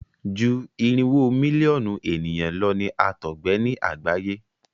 ju irinwo Mílíọ̀nù ènìyàn ló ní àtọgbẹ ní àgbáyé.